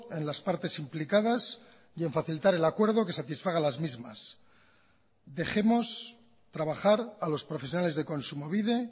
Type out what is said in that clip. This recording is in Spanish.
en las partes implicadas y en facilitar el acuerdo que satisfaga las mismas dejemos trabajar a los profesionales de kontsumobide